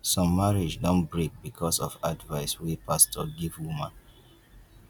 some marriage don break because of advice wey pastor give woman